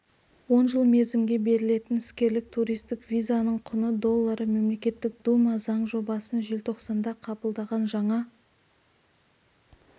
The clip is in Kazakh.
он жыл мерзімге берілетін іскерлік туристік визаның құны доллары мемлекеттік дума заң жобасын желтоқсанда қабылдаған жаңа